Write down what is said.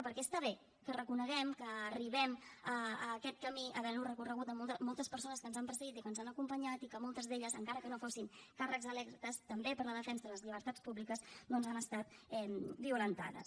perquè està bé que reconeguem que arribem a aquest camí havent lo recorregut amb moltes persones que ens han precedit i que ens han acompanyat i que moltes d’elles encara que no fossin càrrecs electes també per la defensa de les llibertats públiques doncs han estat violentades